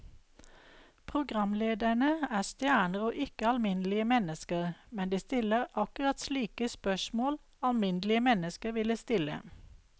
Programlederne er stjerner og ikke alminnelige mennesker, men de stiller akkurat slike spørsmål alminnelige mennesker ville stille.